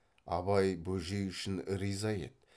абай бөжей үшін риза еді